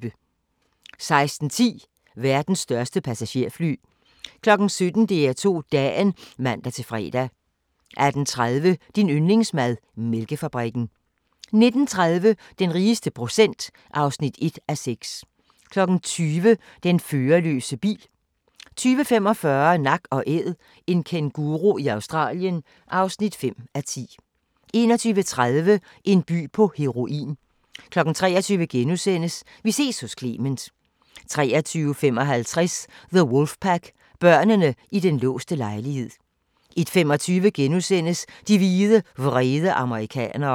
16:10: Verdens største passagerfly 17:00: DR2 Dagen (man-fre) 18:30: Din yndlingsmad: Mælkefabrikken 19:30: Den rigeste procent (1:6) 20:00: Den førerløse bil 20:45: Nak & Æd – en kænguru i Australien (5:10) 21:30: En by på heroin 23:00: Vi ses hos Clement * 23:55: The Wolfpack – Børnene i den låste lejlighed 01:25: De hvide, vrede amerikanere *